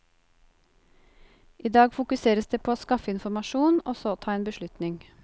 I dag fokuseres det på å skaffe informasjon og så ta en beslutning.